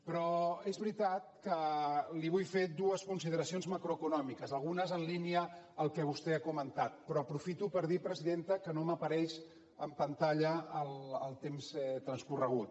però és veritat que li vull fer dues consideracions macroeconòmiques algunes en línia al que vostè ha comentat però aprofito per dir presidenta que no m’apareix en pantalla el temps transcorregut